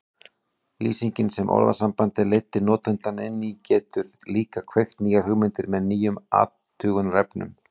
Lýsingin sem orðasambandið leiddi notandann inn í getur líka kveikt nýjar hugmyndir með nýjum athugunarefnum.